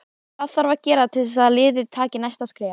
Hvað þarf að gera til að liðið taki næsta skref?